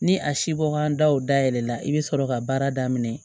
Ni a si bɔ kan daw da yɛlɛla i bɛ sɔrɔ ka baara daminɛ